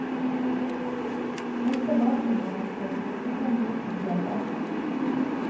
Dette varte nå en stund, så kom de opp på fjellet.